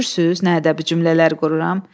Görürsünüz nə ədəbi cümlələr qururam?